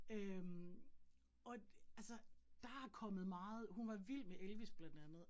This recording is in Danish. Øh og altså der er kommet meget, hun var vild med Elvis blandt andet